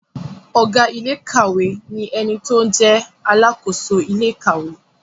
Ọ̀gá iléèkàwé ni ẹni tó jẹ́ alàkóso ilé ìkàwé